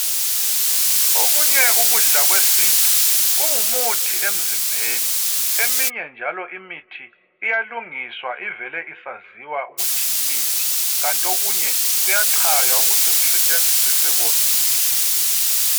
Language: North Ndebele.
Okunye ukudla kwesintu kungumuthi emzimbeni. Eminye njalo imithi iyalungiswa ivele isaziwa ukuthi yimithi kanti okunye kuyachaywa ukuze kusetshenziswe sekuwomile.